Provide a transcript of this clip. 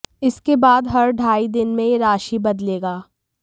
इसके बाद हर ढाई दिन में ये राशि बदलेगा